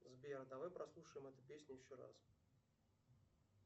сбер давай прослушаем эту песню еще раз